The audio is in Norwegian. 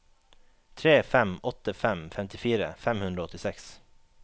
tre fem åtte fem femtifire fem hundre og åttiseks